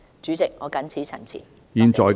主席，我謹此陳辭，謝謝。